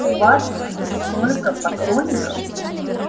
у вас столько поклонников